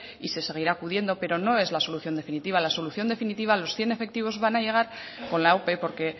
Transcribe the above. y se seguirá acudiendo pero no es la solución definitiva la solución definitiva los cien efectivos van a llegar con la ope porque